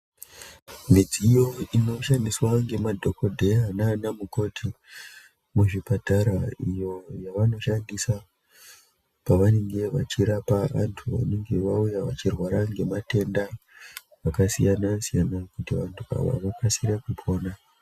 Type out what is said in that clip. Midziyo inoshandiswa ngemadhokodheya naanamukoti muzvipatara iyo yavanoshandisa pavanenge vachirapa vantu vanenge vauya vachirwara ngematenda akasiyana siyana kuti vantu ava vakasire kupona.